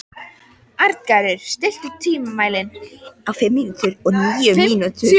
Arngarður, stilltu tímamælinn á fimmtíu og níu mínútur.